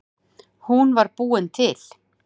Hún var búin til.